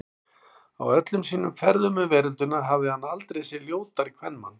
Á öllum sínum ferðum um veröldina hafði hann aldrei séð ljótari kvenmann.